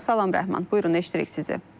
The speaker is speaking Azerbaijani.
Salam Rəhman, buyurun eşidirik sizi.